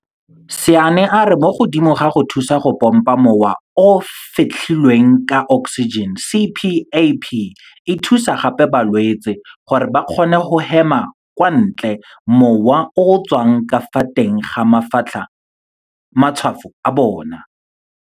Sanne a re mo godimo ga go thusa go pompa mowa o o fetlhilweng ka oksijene, CPAP e thusa gape balwetse gore ba kgone go hemela kwa ntle mowa o o tswang ka fa teng ga matshwafo a bona.